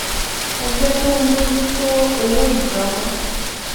ẹgbẹ tó ń bójú tó owó ìjọ ń